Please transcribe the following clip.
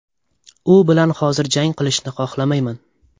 U bilan hozir jang qilishni xohlamayman.